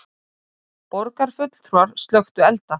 Borgarfulltrúar slökktu elda